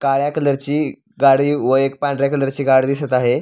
काळ्या कलरची गाडी व एक पांढऱ्या कलरची गाडी दिसत आहे.